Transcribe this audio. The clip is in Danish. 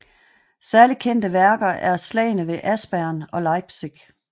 Særlig kendte værker er Slagene ved Aspern og Leipzig